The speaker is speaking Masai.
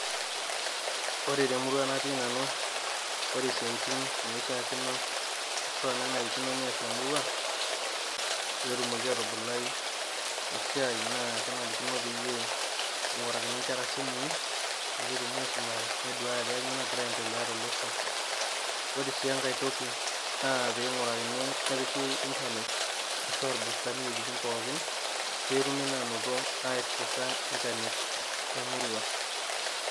Ore te murua natii nanu, ore isiatin naishaakino ashu enarikino neas emurua, pee etumoki aatubulai esiai naa kenarikino peyie eing'urakini inkera isimui peyie etum aisumare neduaya ajo kainyoo nagira aendelea tolosho. Ore sii enkai toki naa pee eingorakini anaa pee epiki internet imbustani iwuejitin pookin peetumi naa ainoto aiaccesa internet te murua.